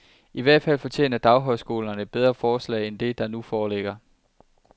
I hvert fald fortjener daghøjskolerne et bedre forslag end det, der nu foreligger.